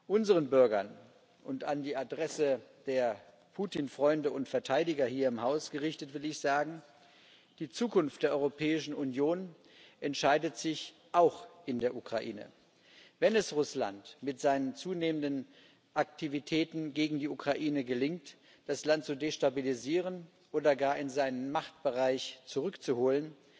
Unseren Bürgern und an die Adresse der Putin Freunde und Verteidiger hier im Haus gerichtet will ich sagen Die Zukunft der Europäischen Union entscheidet sich auch in der Ukraine. Wenn es Russland mit seinen zunehmenden Aktivitäten gegen die Ukraine gelingt, das Land zu destabilisieren oder gar in seinen Machtbereich zurückzuholen,